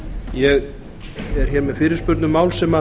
ég er hér með fyrirspurn um mál sem